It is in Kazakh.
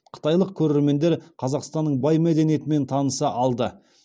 қытайлық көрермендер қазақстанның бай мәдениетімен таныса алды